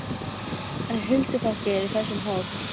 En huldufólkið er í þessum hól!